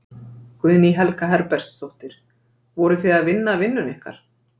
Guðný Helga Herbertsdóttir: Voruð þið að vinna vinnuna ykkar?